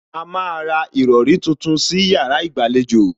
A má a ra ìrọrí tuntun sí yàrá ìgbàlejò